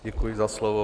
Děkuji za slovo.